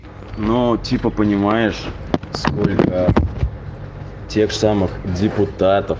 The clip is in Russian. ну типа понимаешь сколько тех самых депутатов